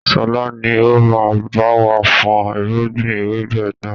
Sọlá ni ó máa báwa fọn irúgbìn ewébẹ̀ náà.